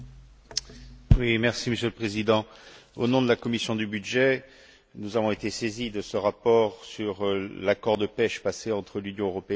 Monsieur le Président, au nom de la commission des budgets, nous avons été saisis de ce rapport sur l'accord de pêche passé entre l'Union européenne et l'Union des Comores.